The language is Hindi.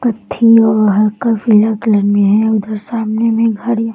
कत्थी और हल्का पीला कलर में है उधर सामने में घर या --